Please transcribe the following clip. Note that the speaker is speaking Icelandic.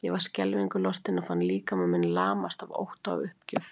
Ég var skelfingu lostin og fann líkama minn lamast af ótta og uppgjöf.